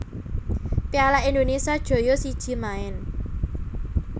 piala Indonesia joyo siji maen